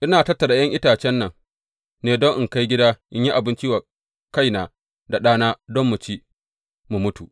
Ina tattara ’yan itacen nan ne don in kai gida in yi abinci wa kaina da ɗana, don mu ci, mu mutu.